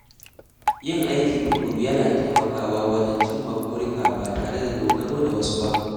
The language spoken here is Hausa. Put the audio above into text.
Yin aiki tukuru yana taimakawa wajen cimma burika ba tare da dogaro da wasu ba.